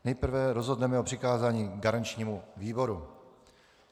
Nejprve rozhodneme o přikázání garančnímu výboru.